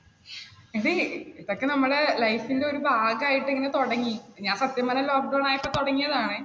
എടി ഇതൊക്കെ നമ്മുടെ life ന്റെ ഒരു ഭാഗമായിട്ട് ഇങ്ങനെ തുടങ്ങി. ഞാൻ സത്യം പറഞ്ഞാൽ lockdown ആയപ്പോൾ തുടങ്ങിയതാണെ.